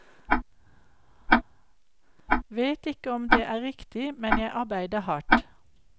Vet ikke om det er riktig, men jeg arbeider hardt.